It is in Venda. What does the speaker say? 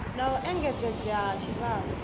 na u engedzedzea ha tshivhalo